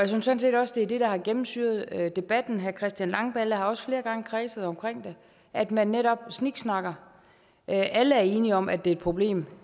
sådan set også det er det der har gennemsyret debatten herre christian langballe har også flere gange kredset omkring det at man netop sniksnakker alle er enige om at det er et problem